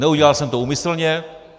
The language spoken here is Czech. Neudělal jsem to úmyslně.